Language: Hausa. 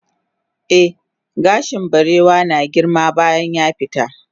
eh gashin barewa na girma bayan yafita